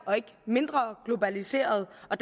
og ikke mindre globaliseret og